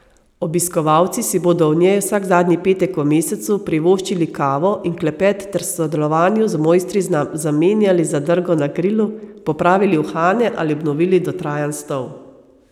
Obiskovalci si bodo v njej vsak zadnji petek v mesecu privoščili kavo in klepet ter v sodelovanju z mojstri zamenjali zadrgo na krilu, popravili uhane ali obnovili dotrajan stol.